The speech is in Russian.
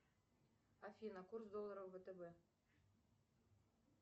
афина курс доллара в втб